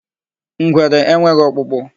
Ngwere enweghị ọkpụkpụ.